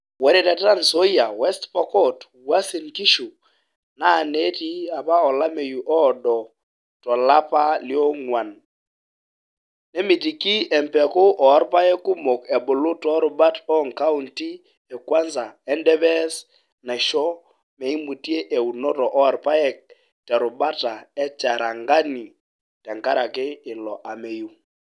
Ore te Tranzoia, west pokot, Uasin Gishu, naa nitii apa olameyu oodo to lapa le oguan nemitiki empeku oorpaek kumok ebulu too rubat oo nkauti e Kwanza o Endebess naisho meimutie eunoto oo irpaek te rubata e Cherangani tenkeraki ilo ameyu.